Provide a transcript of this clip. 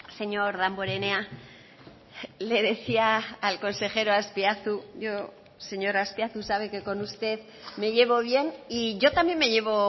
señor damborenea le decía al consejero azpiazu yo señor azpiazu sabe que con usted me llevo bien y yo también me llevo